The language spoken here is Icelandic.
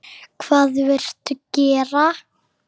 Hvað viltu gera?